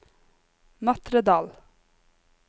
Matredal